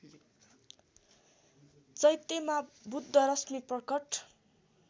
चैत्यमा बुद्धरश्मि प्रकट